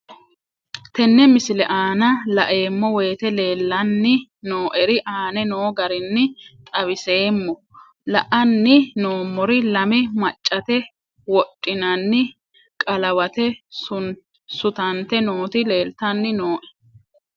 Tenne misile aana laeemmo woyte leelanni noo'ere aane noo garinni xawiseemmo. La'anni noomorri lame maccate wodhinanni qalawate sutante nooti leelitanni nooe.